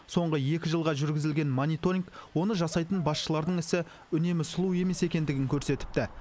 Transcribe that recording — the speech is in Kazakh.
соңғы екі жылға жүргізілген мониторинг оны жасайтын басшылардың ісі үнемі сұлу емес екендігін көрсетіпті